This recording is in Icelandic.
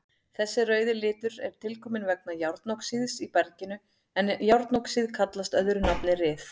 Þessi rauði litur er tilkominn vegna járnoxíðs í berginu en járnoxíð kallast öðru nafni ryð.